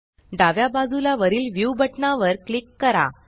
डाव्या बाजूला वरील व्ह्यू व्युव्हबटना वर क्लिक करा